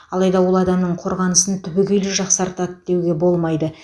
алайда ол адамның қорғанысын түбегейлі жақсартады деуге болмайды